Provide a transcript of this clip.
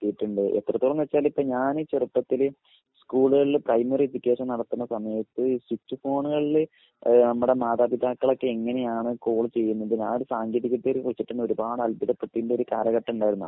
എത്തിയിട്ടുണ്ട്. എത്രത്തോളന്ന് വെച്ചാല് ഇപ്പൊ ഞാന് ചെറുപ്പത്തില് സ്കൂളുകളില് പ്രൈമറി അപ്ലിക്കേഷൻ നടത്തുന്ന സമയത്ത് ഈ സുച് ഫോണുകളില് ഏഹ് നമ്മുടെ മാതാപിതാക്കളൊക്കെ എങ്ങനെയാണ് കാൾ ചെയ്യുന്നത് ആ ഒരു സാങ്കേതിക വിദ്യയെ കുറിച്ചിട്ടെന്നേ ഒരുപാട് അത്ഭുതപെട്ടിരുന്ന ഒരു കാലഘട്ടം ഇണ്ടായിരുന്നു